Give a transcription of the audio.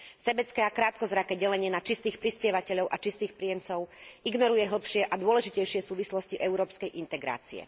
Sebecké a krátkozraké delenie na čistých prispievateľov a čistých príjemcov ignoruje hlbšie a dôležitejšie súvislosti európskej integrácie.